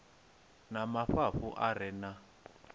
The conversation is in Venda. na mafhafhu a re na